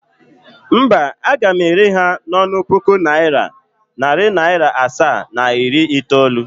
Mba, aga m ere ha n' onu puku naira, nari naira asaa, na iri itoolu.